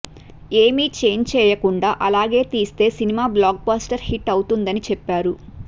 ఏమీ చేంజ్ చేయకుండా అలాగే తీస్తే సినిమా బ్లాక్ బస్టర్ హిట్ అవుతుందని చెప్పారు